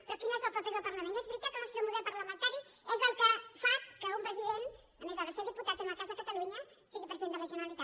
però quin és el paper del parlament és veritat que el nostre model parlamentari és el que fa que un president a més hagi de ser diputat en el cas de catalunya el que sigui president de la generalitat